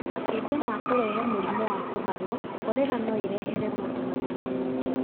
Makĩria ma kũrehe mũrimũ wa kuharwo, korera no ĩrehere mũndũ mathĩna mangĩ.